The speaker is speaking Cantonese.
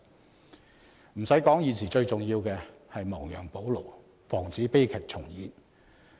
不用說，現時最重要的是亡羊補牢，防止悲劇重演。